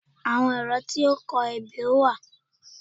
Àwọn ẹ̀rọ tí ó ń kọ ebè wà